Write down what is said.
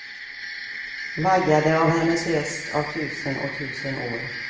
Vaggade av hennes röst, av tusen och tusen år.